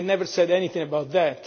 I never said anything about that.